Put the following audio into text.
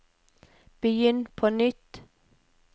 begynn på nytt